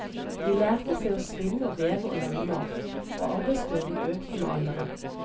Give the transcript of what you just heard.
De lærte seg å spinne og veve og lage mat, og arbeidsbyrden økte med alderen.